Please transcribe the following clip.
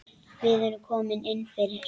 Við erum komin inn fyrir